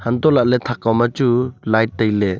hantohlak ley thak kao ma chu light tailey.